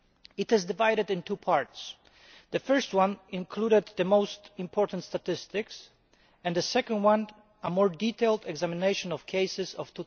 It is divided into two parts the first includes the most important statistics and the second a more detailed examination of cases of